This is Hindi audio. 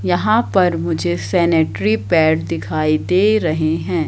यहाँ पर मुझे सेनेटरी पैड दिखाई दे रहे हैं।